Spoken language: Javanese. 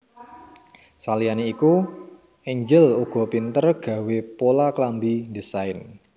Saliyane iku Angel uga pinter gawé pola klambi ndesain